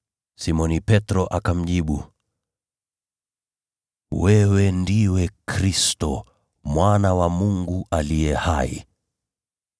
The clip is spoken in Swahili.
Simoni Petro akamjibu, “Wewe ndiwe Kristo, Mwana wa Mungu aliye hai.”